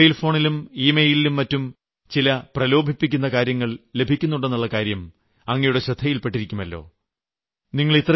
നമ്മുടെ മൊബൈൽ ഫോണിലും ഇമെയിലും മറ്റും ചില പ്രലോഭിപ്പിക്കുന്ന കാര്യങ്ങൾ ലഭിക്കുന്നുണ്ടെന്നുളള കാര്യം അങ്ങയുടെ ശ്രദ്ധയിൽപ്പെട്ടിരിക്കുമല്ലോ